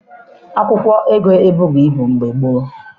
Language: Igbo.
Akwụkwọ ego ebughị ibu mgbe gboo